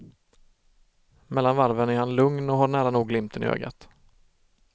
Mellan varven är han lugn och har nära nog glimten i ögat.